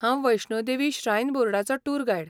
हांव वैष्णो देवी श्रायन बोर्डाचो tour guide.